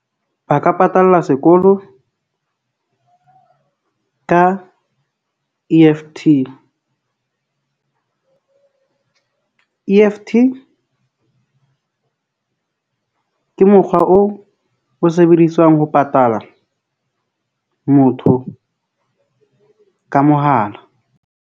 Ba ka patalla sekolo ka E_F_T . E-F_T ke mokgwa oo o sebediswang ho patala motho ka mohala.